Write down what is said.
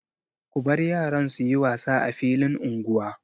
Ku bar yaran su yi wasa a filin unguwa.